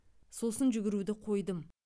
сосын жүгіруді қойдым